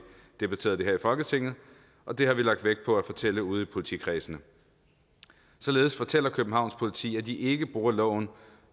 debatterede det her i folketinget og det har vi lagt vægt på at fortælle ude i politikredsene således fortæller københavns politi at de ikke bruger loven